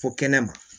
Fo kɛnɛ ma